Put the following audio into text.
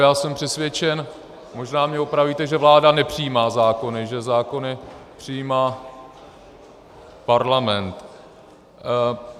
Já jsem přesvědčen, možná mě opravíte, že vláda nepřijímá zákony, že zákony přijímá Parlament.